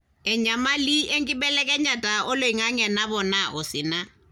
enyamali enkibelekenyata oloingange napoona osina